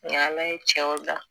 Nga ala ye cɛw dan